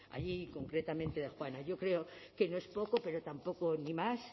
allí y concretamente de juana yo creo que no es poco pero tampoco ni más